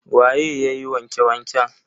Waye yayi wanke wanken?